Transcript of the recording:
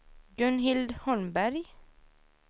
Gunhild Holmberg